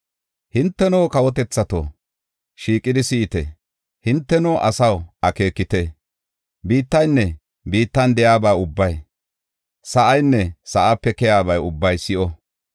Hinteno, kawotethato, shiiqidi si7ite! Hinteno, asaw akeekite! Biittaynne biittan de7iyaba ubbay, sa7inne sa7ape keyaaba ubbay si7o.